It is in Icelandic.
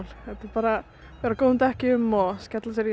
bara vera á góðum dekkjum og skella sér